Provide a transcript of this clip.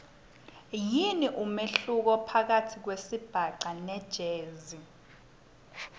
yini umehluko phakatsi kwesibhaca nejazz